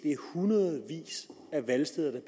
er hundredvis af valgsteder der